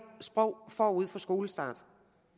sprog forud for skolestart